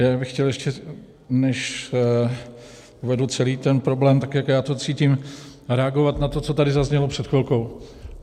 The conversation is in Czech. Já bych chtěl, ještě než uvedu celý ten problém, tak jak já to cítím, reagovat na to, co tady zaznělo před chvilkou.